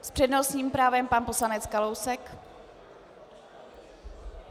S přednostním právem pan poslanec Kalousek.